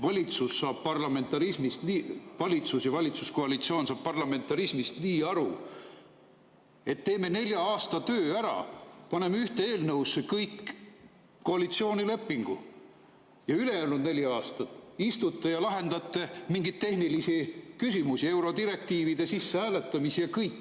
Valitsus ja valitsuskoalitsioon saavad parlamentarismist aru nii, et teeme nelja aasta töö ära, paneme ühte eelnõusse kogu koalitsioonilepingu, ja ülejäänud neli aastat istute ja lahendate mingeid tehnilisi küsimusi, eurodirektiivide sissehääletamist, ja kõik.